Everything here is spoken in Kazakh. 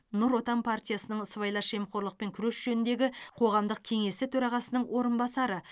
нұр отан партиясының сыбайлас жемқорлықпен күрес жөніндегі қоғамдық кеңесі төрағасының орынбасары